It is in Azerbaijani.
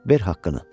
Ver haqqını.